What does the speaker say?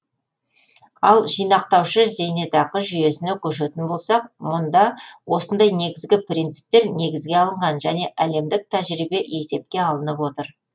ал жинақтаушы зейнетақы жүйесіне көшетін болсақ мұнда осындай негізгі принциптер негізге алынған және әлемдік тәжірибе есепке алынып отыр